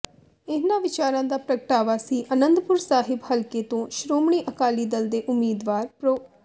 ਇਨ੍ਹਾਂ ਵਿਚਾਰਾਂ ਦਾ ਪ੍ਰਗਟਾਵਾ ਸ੍ਰੀ ਅਨੰਦਪੁਰ ਸਾਹਿਬ ਹਲਕੇ ਤੋਂ ਸ਼੍ਰੋਮਣੀ ਅਕਾਲੀ ਦਲ ਦੇ ਉਮੀਦਵਾਰ ਪ੍ਰੋ